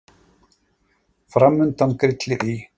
Framundan grillir í